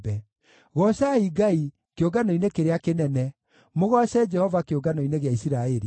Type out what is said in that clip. Goocai Ngai, kĩũngano-inĩ kĩrĩa kĩnene; mũgooce Jehova kĩũngano-inĩ gĩa Isiraeli.